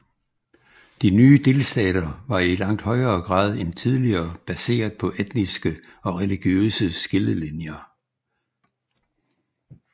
De nye delstater var i langt større grad end tidligere baseret på etniske og religiøse skillelinjer